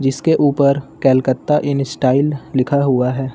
जिसके ऊपर Calcutta in style लिखा हुआ है